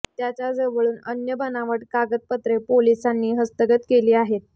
त्याच्या जवळून अन्य बनावट कागदपत्रे पोलिसांनी हस्तगत केली आहेत